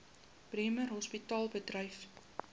bremer hospitaal bedryf